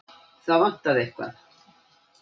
Það vantaði eitthvað.